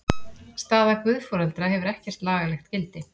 Staða guðforeldra hefur ekkert lagalegt gildi.